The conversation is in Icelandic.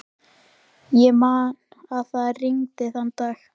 Þjóðin, ríkisstjórnin eða bankarnir?